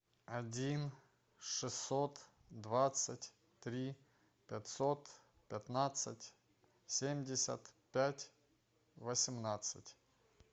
один шестьсот двадцать три пятьсот пятнадцать семьдесят пять восемнадцать